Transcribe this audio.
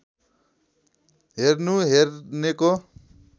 हेर्नु हेर्नेको